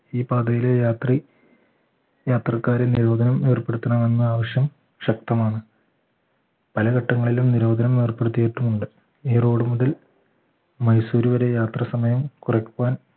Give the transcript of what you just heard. ഈ പാതയിലെ രാത്രി യാത്രക്കാരൻ നിരോധനം ഏർപ്പെടുത്തണമെന്ന് ആവശ്യം ശക്തമാണ് പല ഘട്ടങ്ങളിലും നിരോധനം ഏർപ്പെടുത്തിയിട്ടുണ്ട് ഈ road മുതൽ മൈസൂര് വരെ യാത്ര സമയം കുറയ്ക്കാൻ